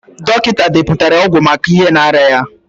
Dọkịta deputara ọgwụ maka ihe na-arịa ya.